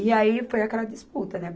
E aí foi aquela disputa, né?